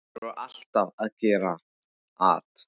Þeir voru alltaf að gera at.